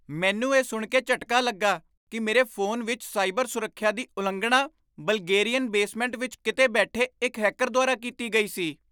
ਮੈਨੂੰ ਇਹ ਸੁਣ ਕੇ ਝਟਕਾ ਲੱਗਾ ਕਿ ਮੇਰੇ ਫੋਨ ਵਿੱਚ ਸਾਈਬਰ ਸੁਰੱਖਿਆ ਦੀ ਉਲੰਘਣਾ ਬਲਗੇਰੀਅਨ ਬੇਸਮੈਂਟ ਵਿੱਚ ਕਿਤੇ ਬੈਠੇ ਇੱਕ ਹੈਕਰ ਦੁਆਰਾ ਕੀਤੀ ਗਈ ਸੀ।